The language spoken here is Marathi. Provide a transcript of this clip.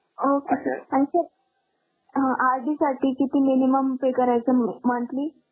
okay sir आणि sir अं RD साठी किती minimum pay करायचा मंथली